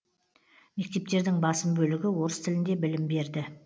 мектептердің басым бөлігі орыс тілінде білім берді